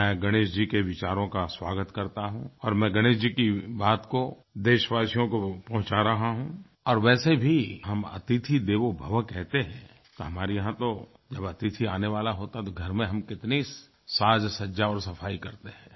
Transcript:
मैं गणेश जी के विचारों का स्वागत करता हूँ और मैं गणेश जी की बात को देशवासियों को पहुंचा रहा हूँ और वैसे भी हम अतिथि देवो भव कहते हैं तो हमारे यहाँ तो जब अतिथि आने वाला होता है तो घर में हम कितनी साजसज्जा और सफाई करते हैं